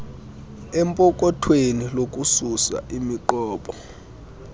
empokothweni lokususa imiqobo